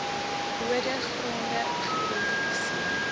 bode gronde geïdentifiseer